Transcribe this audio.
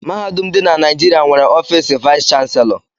Mahadum dị na Naịjịrịa nwere ọfiisi vaịs chanselọ.